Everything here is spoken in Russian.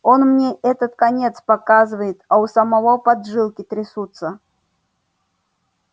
он мне этот конец показывает а у самого поджилки трясутся